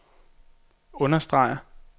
understreger